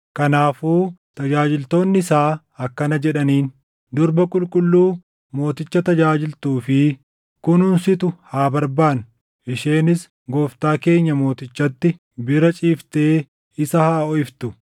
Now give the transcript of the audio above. Kanaafuu tajaajiltoonni isaa akkana jedhaniin; “Durba qulqulluu mooticha tajaajiltuu fi kunuunsitu haa barbaannu. Isheenis gooftaa keenya mootichatti bira ciiftee isa haa hoʼiftu.”